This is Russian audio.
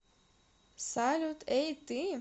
салют эй ты